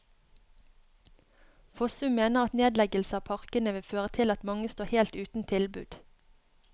Fossum mener at nedleggelse av parkene vil føre til at mange står helt uten tilbud.